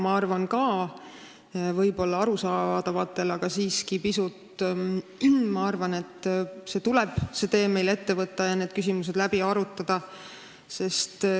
Ma arvan, et arusaadavatel põhjustel tuleb meil ka sisserände teema, see tee ette võtta ja need küsimused läbi arutada.